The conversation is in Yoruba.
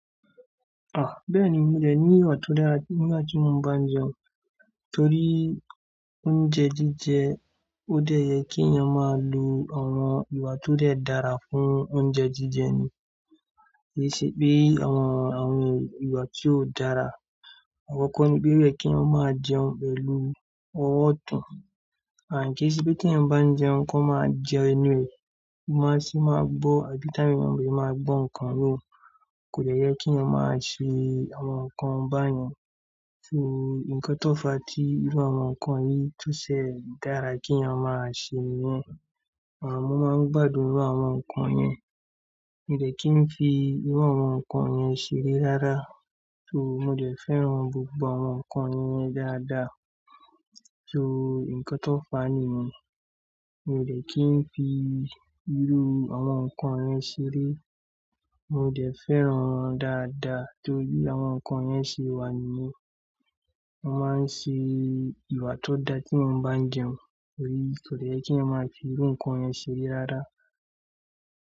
Ah! Bẹ́ẹ̀ni mi dẹ ní iwà tó dára, temi naa tí mo máa ń bá jẹun. Torí oúnjẹ jíjẹ ó dẹ̀ yẹ kí ènìyàn máa lo àwọn ìwà tó dẹ̀ dára fún oúnjẹ jíjẹ ni. Kí ì ṣe pé àwọn, àwọn ìwà tí ò dára. Àkọkọ nipe o yẹ keeyan máa jẹun pẹ̀lú ọwọ́ ọtún. Àn kí ì ṣe pé tí ẹ̀ n bá jẹun kí wọ́n máa jẹ ẹnu rẹ̀. Kí wọ́n sì máa gbọ́ àbí táyà wọn mi ò máa gbọ́ nǹkan míràn. Kò dẹ̀ yẹ kí èèyàn máa ṣe àwọn nǹkan bá yẹn. So nǹkan tó fàá tí irú àwọn nǹkan yìí tó ṣe dára kí ènìyàn máa ṣe nìyẹn. Mo máa ń gbádùn irú àwọn nǹkan yẹn. Mi dẹ̀ kí n fi irú àwọn nǹkan yẹn ṣeré rárá. So mo dẹ̀ fẹ́ran gbogbo àwọn nǹkan yẹn dáadáa. So nǹkan tó fàá nìyẹn, mi dẹ̀ kí n fi irú àwọn nǹkan yẹn ṣeré. Mi dẹ̀ fẹ́ran wọn dáadáa torí àwọn nǹkan yẹn ṣe wà nìyẹn. Mo máa ń ṣe ìwà tó dá tí mo bá jẹun. Torí kò dẹ̀ yẹ kí èèyàn máa fi irú nǹkan yẹn ṣeré rárá.